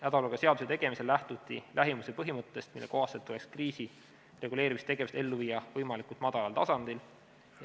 Hädaolukorra seaduse tegemisel lähtuti lähimuse põhimõttest, mille kohaselt tuleks kriisireguleerimistegevust ellu viia võimalikult madalal tasandil.